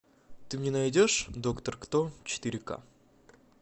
ты мне найдешь доктор кто четыре ка